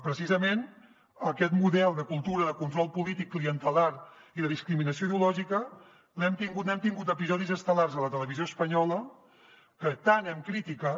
precisament d’aquest model de cultura de control polític clientelar i de discriminació ideològica n’hem tingut episodis estel·lars a la televisió espanyola que tant hem criticat